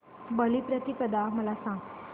बलिप्रतिपदा मला सांग